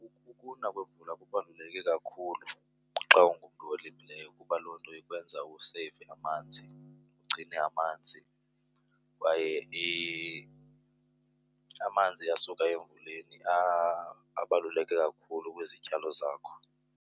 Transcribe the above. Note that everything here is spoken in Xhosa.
Ukuna kwevula kubaluleke kakhulu xa ungumntu olimileyo kuba loo nto ikwenza useyive amanzi, ugcine amanzi, kwaye amanzi asuka emvuleni abaluleke kakhulu kwizityalo zakho.